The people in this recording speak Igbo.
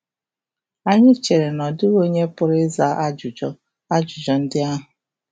Anyị chere na ọ dịghị onye pụrụ ịza ajụjụ ajụjụ ndị ahụ.